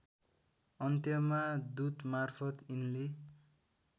अन्त्यमा दूतमार्फत यिनले